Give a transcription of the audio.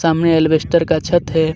सामने एलवेस्टर का छत हैं.